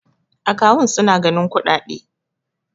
akawun suna ganin kuɗaɗe